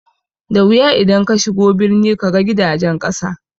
Da wuya idan kashigo birni kaga gidajen ƙasa